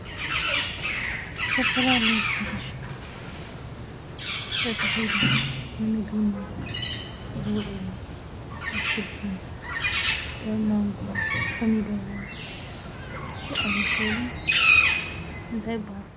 ዝተፈላለዩ ሕርሻታት ተተኺሎም ንምግብነት ዝውዕሉ ኣትክልቲ ከም ማንጎ ፣ኮሚደረ ዝኣመሰሉ እንታይ ይበሃሉ ?